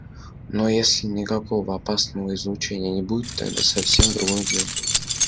но если никакого опасного излучения не будет тогда совсем другое дело